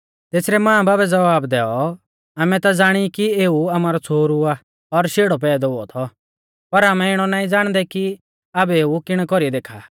तेसरै मांबाबै ज़वाब दैऔ आमै ता ज़ाणी कि एऊ आमारौ छ़ोहरु आ और शेड़ौ पैदौ हुऔ थौ